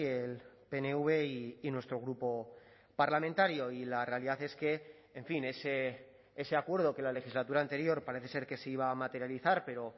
el pnv y nuestro grupo parlamentario y la realidad es que en fin ese acuerdo que la legislatura anterior parece ser que se iba a materializar pero